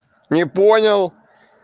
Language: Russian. не понял